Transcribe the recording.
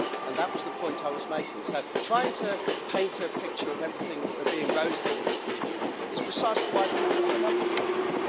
That was the point I was making, so trying to paint a picture of everything being rosy in the European Union is precisely why people are fed up with this place.